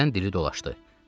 Birdən dili dolaşdı.